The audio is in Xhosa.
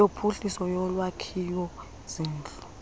yophuhliso yolwakhiwo zindlu